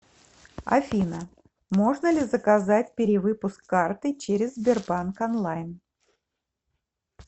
афина можно ли заказать перевыпуск карты через сбербанк онлайн